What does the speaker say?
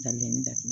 Ka na ni da